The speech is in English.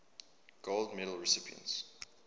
gold medal recipients